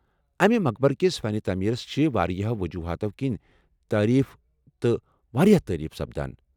امہٕ مقبرکِس فن تعمیرس چھِ وارِیاہو وجوہاتو کِنۍ تعریف تہٕ واریاہ تعریف سپدان۔